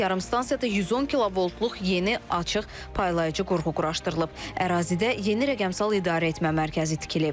Yarımstansiyada 110 kilovoltluq yeni açıq paylayıcı qurğu quraşdırılıb, ərazidə yeni rəqəmsal idarəetmə mərkəzi tikilib.